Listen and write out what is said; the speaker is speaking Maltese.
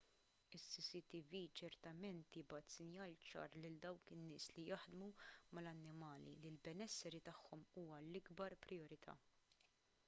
is-cctv ċertament jibgħat sinjal ċar lil dawk in-nies li jaħdmu mal-annimali li l-benesseri tagħhom huwa l-ikbar prijorità